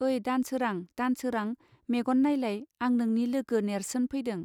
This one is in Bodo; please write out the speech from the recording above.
ओइ दानसोरां दानसोरां मेगन नायलाय आं नोंनि लोगो नेर्सोन फैदों.